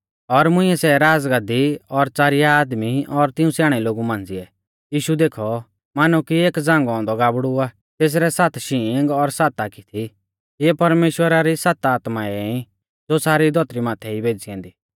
और मुंइऐ सै राज़गाद्दी और च़ारिया आदमी और तिऊं स्याणै लोगु मांझ़िऐ यीशु देखौ मानौ की एक झ़ांगौ औन्दौ गाबड़ु आ तेसरै सात शींग और सात आखी थी इऐ परमेश्‍वरा री सात आत्माऐं ई ज़ो सारी धौतरी माथै ई भेज़ी ऐन्दी